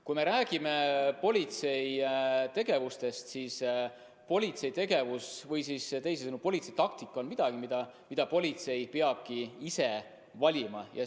Kui me räägime politsei tegevusest, siis politsei tegevus või teisisõnu politsei taktika on miski, mille politsei peabki ise valima.